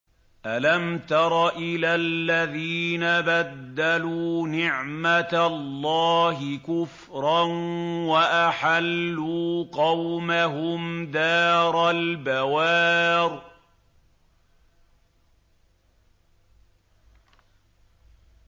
۞ أَلَمْ تَرَ إِلَى الَّذِينَ بَدَّلُوا نِعْمَتَ اللَّهِ كُفْرًا وَأَحَلُّوا قَوْمَهُمْ دَارَ الْبَوَارِ